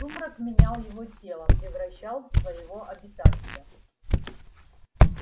сумрак менял его тело превращал в своего обитателя